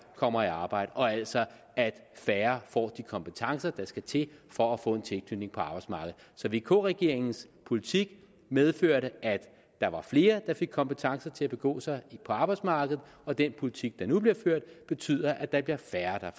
kommer i arbejde og altså at færre får de kompetencer der skal til for at få en tilknytning på arbejdsmarkedet så vk regeringens politik medførte at der var flere der fik kompetencer til at begå sig på arbejdsmarkedet og den politik der nu bliver ført betyder at der bliver færre